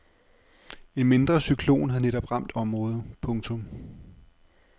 En mindre cyklon havde netop ramt området. punktum